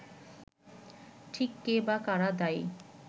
ঠিক কে বা কারা দায়ী